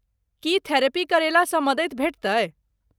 की therapy करेला सँ मदति भेटतै?